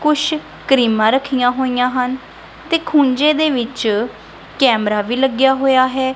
ਕੁਸ਼ ਕ੍ਰੀਮਾਂ ਰੱਖਿਆਂ ਹੋਈਆਂ ਹਨ ਤੇ ਖੁੰਜੇ ਦੇ ਵਿੱਚ ਕੈਮਰਾ ਵੀ ਲੱਗਿਆ ਹੋਇਆ ਹੈ।